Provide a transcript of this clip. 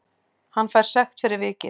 Hann fær sekt fyrir vikið